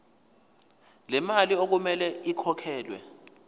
lemali okumele ikhokhelwe